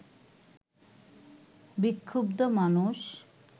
বিক্ষুব্ধ মানুষ